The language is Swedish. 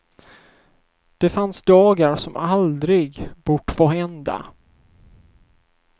Det fanns dagar som aldrig bort få hända.